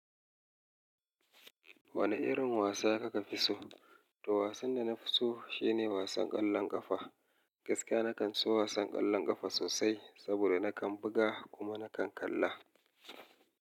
Wane irin wasa kaka fi so? To wasan da na fi so shine wasan ƙwallon ƙafa. Gaskiya na kan so wasan ƙwallon ƙafa sosai saboda na kan buga kuma na kan kalla.